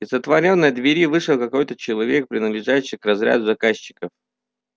из отворённой двери вышел какой-то человек принадлежащий к разряду заказчиков